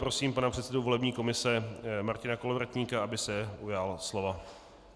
Prosím pana předsedu volební komise Martina Kolovratníka, aby se ujal slova.